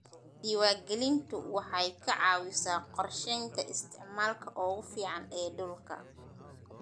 Diiwaangelintu waxay ka caawisaa qorsheynta isticmaalka ugu fiican ee dhulka.